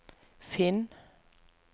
finn